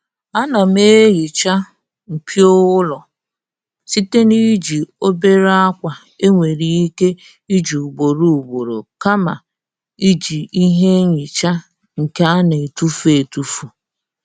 Ana m ehiicha mpio ụlọ site n'iji obere akwa e nwere ike iji ugboro ugboro kama iji ihe nhicha nke a na-etufu etufu.